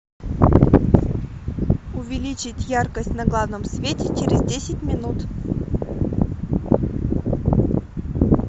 увеличить яркость на главном свете через десять минут